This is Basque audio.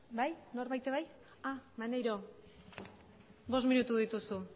bai norbaitek bai maneiro bost minutu dituzu